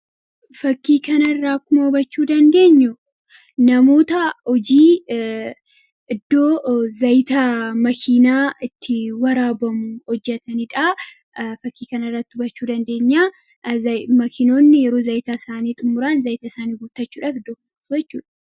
Fakkii kana irraa akkuma hubachuu dandeenyu namoota hojii iddoo zaayita makiinaa itti waraabamu hojjataniidha. Fakkii kan irra hubachuu dandeenya. Makiinoonni yeroo zaayitaa isaanii xumuraan zaayita isaanii guutachuudhaaf dhaabbatu.